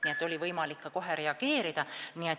Nii et oli võimalik kohe reageerida.